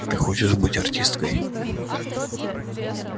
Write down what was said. ты хочешь быть артисткой